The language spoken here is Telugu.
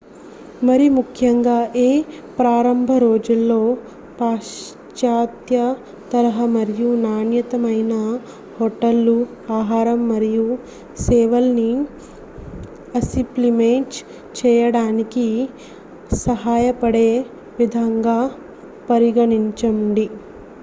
మరిముఖ్యంగా మీ ప్రారంభ రోజుల్లో పాశ్చాత్య తరహా మరియు నాణ్యమైన హోటళ్లు ఆహారం మరియు సేవల్ని అసిప్లిమేజ్ చేయడానికి సహాయపడే విధంగా పరిగణించండి